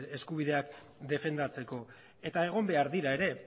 eskubideak defendatzeko eta egon behar dira ere